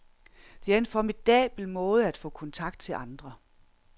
Det er en formidabel måde at få kontakt til andre.